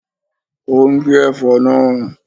Ó ń gé ẹ̀fọ́ náà